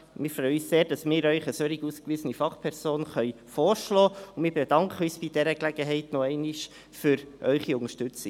Wir freuen uns sehr, dass wir Ihnen eine solch ausgewiesene Fachperson vorschlagen können, und bedanken uns bei dieser Gelegenheit noch einmal für Ihre Unterstützung.